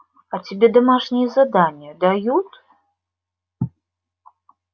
а тебе домашние задания дают